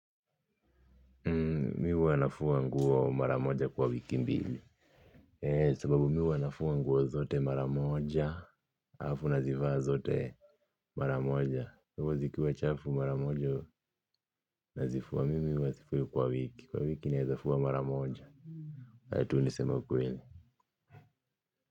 Mi huwa nafua nguo mara moja kwa wiki mbili, sababu mi huwa nafua nguo zote mara moja alafu nazivaa zote mara moja kwa hivo zikiwa chafu mara moja nazifua mimi huwa sifui kwa wiki kwa wiki naeza fua mara moja. Heri tu niseme ukweli.